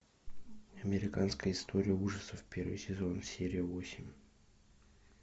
американская история ужасов первый сезон серия восемь